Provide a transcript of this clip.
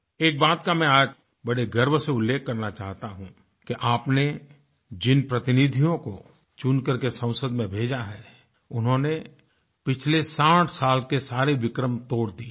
एक बात का मैं आज बड़े गर्व से उल्लेख करना चाहता हूँ कि आपने जिन प्रतिनिधियों को चुन करके संसद में भेजा है उन्होंने पिछले 60 साल के सारे विक्रम तोड़ दिये हैं